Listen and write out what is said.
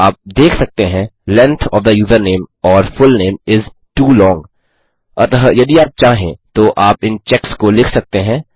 आप देख सकते हैं length of the username or full name is too long अतः यदि आप चाहें तो आप इन चेक्स को लिख सकते हैं